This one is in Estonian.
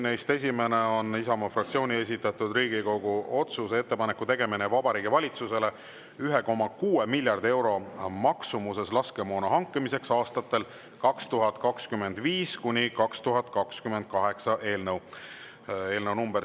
Neist esimene on Isamaa fraktsiooni esitatud Riigikogu otsuse "Ettepaneku tegemine Vabariigi Valitsusele 1,6 miljardi euro maksumuses laskemoona hankimiseks aastatel 2025–2028" eelnõu .